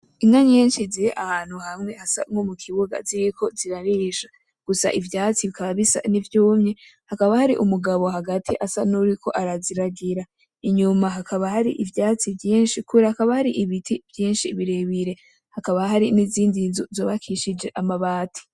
Inka nyinshi ziri ahantu hamwe hasa nko mukibuga ziriko zirarisha gusa ivyatsi bikaba bisa nkivyumye hakaba hari umugabo hagati asa nuwuriko araziragira inyuma hakaba hari ivyatsi vyinshi hakaba hari ibiti vyinshi birebire hakaba hari nizindi nzu zubakishijwe amabati